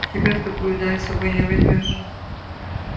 тебя в такую даль с собой не возьмёшь